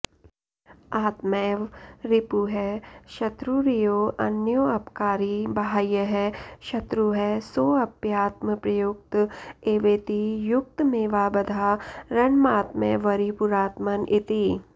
आत्मैव रिपुः शत्रुर्योऽन्योऽपकारी बाह्यः शत्रुः सोऽप्यात्मप्रयुक्त एवेति युक्तमेवाबधारणमात्मैवरिपुरात्मन इति